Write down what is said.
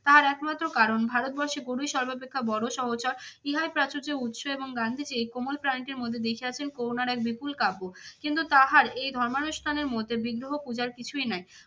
তার একমাত্র কারণ ভারতবর্ষে গরুই সর্বাপেক্ষা বড় সহচর। ইহার প্রাচুর্য উৎস এবং গান্ধীজী কোমল প্রাণীটির মধ্যে দেখিয়াছেন করুণার এক বিপুল কাব্য কিন্তু তাহার এই ধর্মানুষ্ঠানের মধ্যে বিগ্রহ পূজার কিছুই নাই।